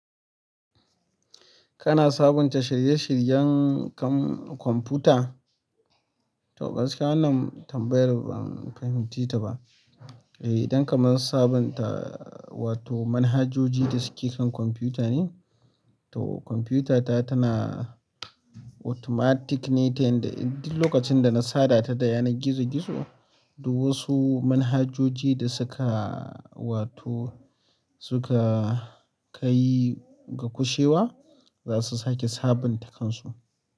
Kana sabunta shirye-shiryen kan kwamfuta? To, gaskiya wannan tambayar ban fahimce ta ba. Eh, idan ka mana sabunta, wato manhajoji da suke kan kwamfuta ne, to kwamfutata tana automatic ne, ta yadda duk lokacin da na sada ta da yanar gizo-gizo, duk wasu manhajoji da suka wato suka kai ga gushewa zasu kai da sabunta kansu.